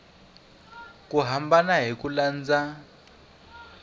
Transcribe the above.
ku hambana hi ku landza